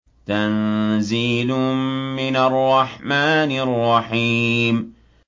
تَنزِيلٌ مِّنَ الرَّحْمَٰنِ الرَّحِيمِ